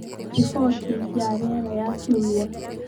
riboti ya rĩera ya kiumia